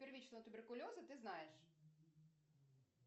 первичного туберкулеза ты знаешь